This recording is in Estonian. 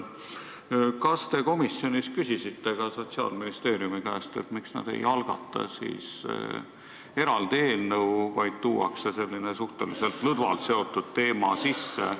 Kas te komisjonis küsisite ka Sotsiaalministeeriumi esindaja käest, miks nad ei algata eraldi eelnõu, vaid toovad sellise suhteliselt lõdvalt seotud teema siia sisse?